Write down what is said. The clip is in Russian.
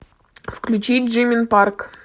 включи джимин парк